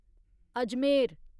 Ajmer